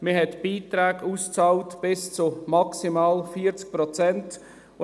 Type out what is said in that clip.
Man bezahlt Beiträge bis zu maximal 40 Prozent aus.